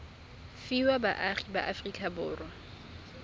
fiwa baagi ba aforika borwa